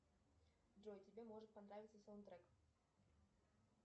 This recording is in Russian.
джой тебе может понравиться саундтрек